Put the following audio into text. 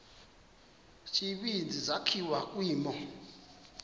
tsibizi sakhiwa kwimo